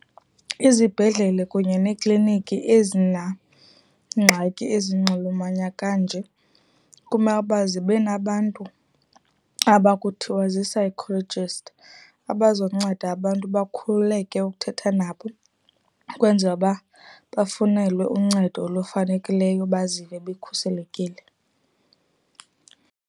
Izibhedlele kunye neekliniki ezinangxaki ezinonxuluma kanje kumele uba zibe nabantu aba ukuthiwa zii-psychologist abazokunceda abantu bakhululeke ukuthetha nabo ukwenzela uba bafunelwe uncedo olufanekileyo bazive bekhuselekile.